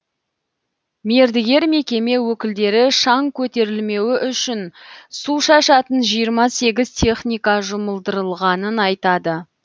мердігер мекеме өкілдері шаң көтерілмеуі үшін су шашатын жиырма сегіз техника жұмылдырылғанын айтады